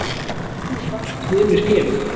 Við erum í baráttu við önnur félög.